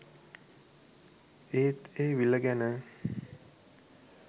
ඒත් ඒ විල ගැන